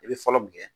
I bɛ fɔlɔ min kɛ